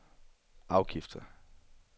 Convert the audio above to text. afgifter